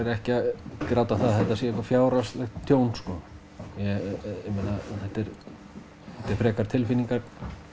ekki að gráta það að þetta sé eitthvað fjárhagslegt tjón sko ég meina þetta er frekar tilfinningar